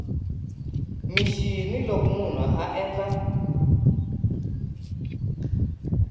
mixini loko munhu a endla